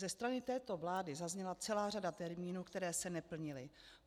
Ze strany této vlády zazněla celá řada termínů, které se neplnily.